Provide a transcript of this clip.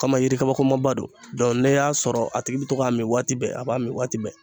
Kama yiri kabakomaba don. Dɔn n'i y'a sɔrɔ a tigi bi to k'a min waati bɛɛ, a b'a min waati bɛɛ.